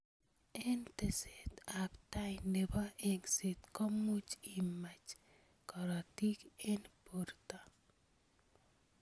Eng teset ab tai nebo engset komuch imach karotik eng borto.